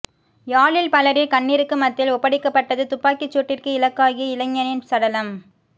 யாழில் பலரின் கண்ணீருக்கு மத்தியில் ஒப்படைக்கப்பட்டது துப்பாக்கிச்சூட்டிற்கு இலக்காகிய இளைஞனின் சடலம்